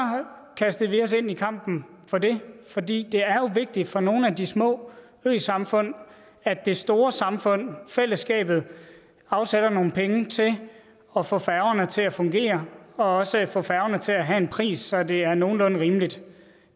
kastede vi os ind i kampen for det for det er jo vigtigt for nogle af de små øsamfund at det store samfund fællesskabet afsætter nogle penge til at få færgerne til at fungere og også få færgerne til at have en pris så det er nogenlunde rimeligt